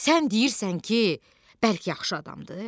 Sən deyirsən ki, bəlk yaxşı adamdır?